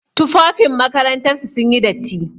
Tufafin makarantar su sun yi datti.